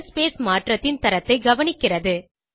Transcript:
colour space மாற்றத்தின் தரத்தை கவனிக்கிறது